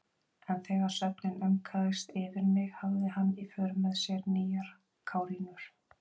En þegar svefninn aumkaðist yfir mig hafði hann í för með sér nýjar kárínur.